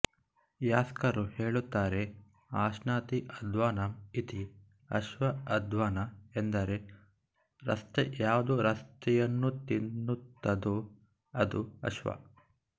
ಯಾಸ್ಕರು ಹೇಳುತ್ತಾರೆ ಅಶ್ನಾತಿಅದ್ವಾನಂ ಇತಿ ಅಶ್ವ ಅದ್ವಾನ ಎಂದರೆ ರಸ್ತೆ ಯಾವುದು ರಸ್ತೆಯನ್ನುತಿನ್ನುತ್ತದೋ ಅದು ಅಶ್ವ